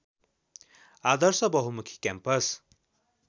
आदर्श बहुमुखी क्याम्पस